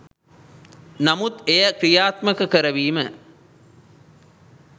නමුත් එය ක්‍රියාත්මක කරවීම